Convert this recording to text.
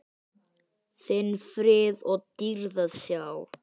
þinn frið og dýrð að sjá.